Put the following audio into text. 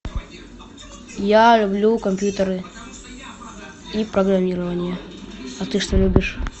я люблю компьютеры и программирование а ты что любишь